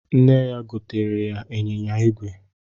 Nne ya gotere ya ịnyịnya igwe